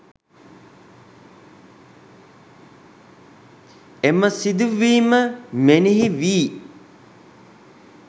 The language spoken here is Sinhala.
එම සිදුවීම මෙනෙහි වී